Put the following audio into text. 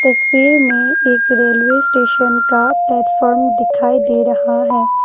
तस्वी में एक railway station का प्लेटफार्म दिखाई दे रहा है।